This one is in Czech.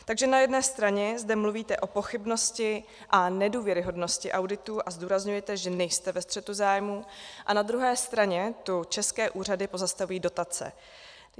Takže na jedné straně zde mluvíte o pochybnosti a nedůvěryhodnosti auditů a zdůrazňujete, že nejste ve střetu zájmů, a na druhé straně tu české úřady pozastaví dotace.